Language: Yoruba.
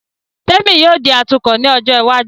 Témì yóò di atukọ̀ ní ọjọ́ iwájú